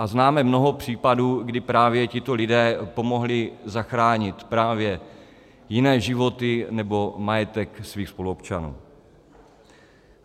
A známe mnoho případů, kdy právě tito lidé pomohli zachránit právě jiné životy nebo majetek svých spoluobčanů.